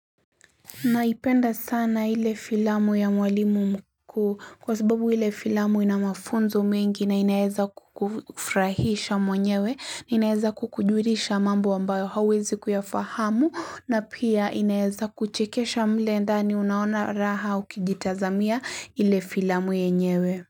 Naipenda sana ile filamu ya mwalimu mkuu kwa sababu ile filamu ina mafunzo mengi na inaeza kukufurahisha mwenyewe inaeza kukujulisha mambo ambayo hauwezi kuyafahamu na pia inaeza kuchekesha mle ndani unaona raha ukijitazamia ile filamu yenyewe.